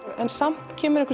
samt kemur einhver